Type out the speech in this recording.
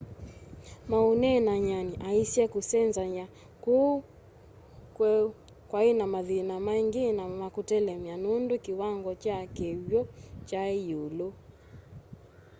maũneenany'anĩ aaisye kũsenzanya kũu kweũ kwaĩnamathĩna maĩngĩ na makũtelemya nũndũ kiwango kya kĩkw'ũ kyai yiulu